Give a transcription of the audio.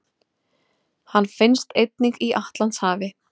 Hann finnst einnig í Atlantshafi.